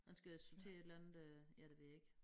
Han skal sortere et eller andet øh ja det ved jeg ikke